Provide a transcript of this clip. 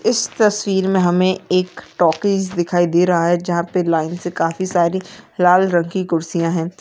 इस तस्वीर मे हमें एक टॉकीज दिखाई दे रहा है जहाँ पे लाइन से काफी सारी लाल रंग की कुर्सियां है।